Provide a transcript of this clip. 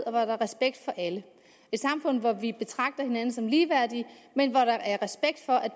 og hvor der er respekt for alle et samfund hvor vi betragter hinanden som ligeværdige men hvor der er respekt for at